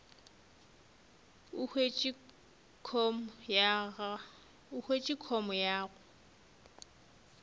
o hwetše com ya gago